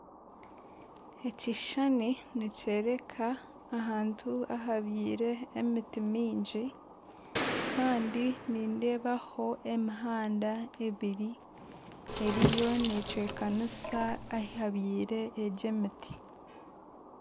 Ekishushani nikyereka ahantu ahabyiire emiti mingi Kandi nindeeba ho emihanda ebiri eriyo necwekanisa ahabyiire egi emiti.